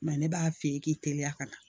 ne b'a f'i ye k'i teliya ka na